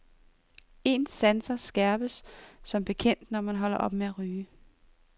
Ens sanser skærpes som bekendt, når man holder op med at ryge.